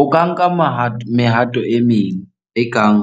O ka nka mehato e meng ekang